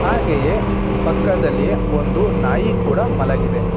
ಹಾಗೆಯೇ ಪಕ್ಕದಲ್ಲಿ ಒಂದು ನಾಯಿ ಕೂಡ ಮಲಗಿದೆ.